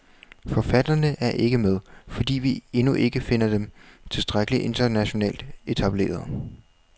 Forfatterne er ikke med, fordi vi endnu ikke finder dem tilstrækkelig internationalt etablerede.